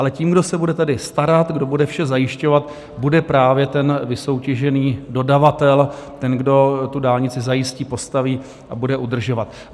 Ale tím, kdo se tady bude starat, kdo bude vše zajišťovat, bude právě ten vysoutěžený dodavatel, ten, kdo tu dálnici zajistí, postaví a bude udržovat.